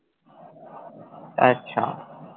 আচ্ছা,